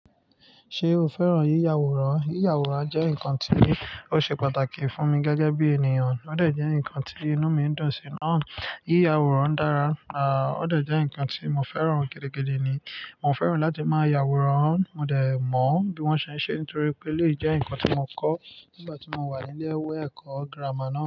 Ṣé o fẹ́ràn yíya àwòrán? Yíya àwòrán jẹ́ nǹkan tí ó ṣe pàtàkì fún mi gẹ́gẹ́ bí ènìyàn. Ó de jẹ́ ǹnkan tí inú mi i dùn sí. Náà yíya àwòrán dára, à ó de jẹ́ ǹnkan tí mo fẹ́ràn gidigidi ni. Mo fẹ́ràn láti máa ya àwòrán. Mo dẹ̀ mọ bí wọ́n ṣe ń ṣe nítorí pé eleyii jẹ́ ǹnkan tí mo kọ́ nígbà tí mo wà ní ilé iwe ẹ̀kọ́ gírámà náà.